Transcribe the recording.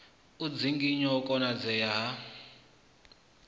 u dzinginya u konadzea ha